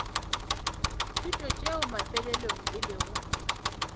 thuto tšeo mafelelong e lego